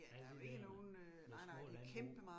Ja lige dér med små landbrug